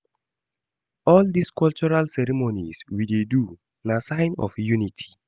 All dese cultural ceremonies we dey do na sign of unity.